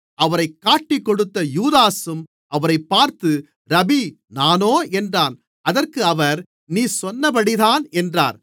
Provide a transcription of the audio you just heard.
அவரைக் காட்டிக்கொடுத்த யூதாசும் அவரைப் பார்த்து ரபீ நானோ என்றான் அதற்கு அவர் நீ சொன்னபடிதான் என்றார்